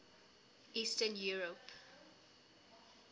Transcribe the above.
eastern europe